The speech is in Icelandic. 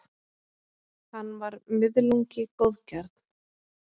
hann var „miðlungi góðgjarn